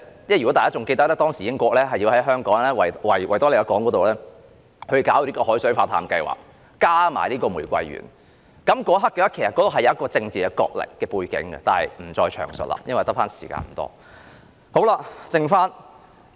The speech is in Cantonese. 如果大家仍然記得，英國當時是想在維港推行海水化淡計劃，再加上玫瑰園，其實當中是有一個政治角力的背景，但我不再詳述了，因為餘下的發言時間不多。